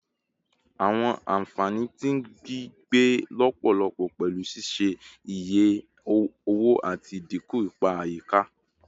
Awọn anfani ti gbigbe lọpọlọpọ pẹlu ṣiṣe iye owo ati idinku ipa ayika